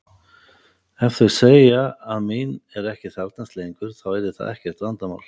Ef þau segja að mín er ekki þarfnast lengur þá yrði það ekkert vandamál.